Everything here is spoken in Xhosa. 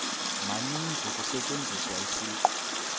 maninzi kusetyenziswa isiqu